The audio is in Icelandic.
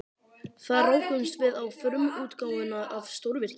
Þar rákumst við á frumútgáfuna af stórvirki